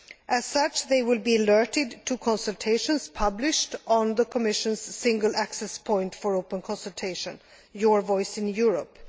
As such, they will be alerted to consultations published on the Commission's single access point for open consultation, Your Voice in Europe.